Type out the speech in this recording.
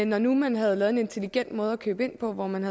når nu man havde lavet en intelligent måde at købe ind på hvor man